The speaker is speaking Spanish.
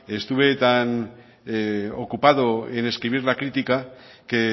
estuve tan ocupado en escribir la crítica que